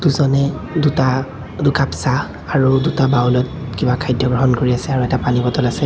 জনে দুটা দুকাপ চাহ আৰু দুটা বাউলত কিবা খাদ্য গ্ৰহণ কৰি আছে আৰু এটা পানী বটল আছে।